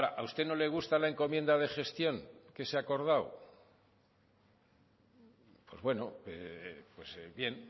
a usted no le gusta la encomienda de gestión que se ha acordado pues bueno bien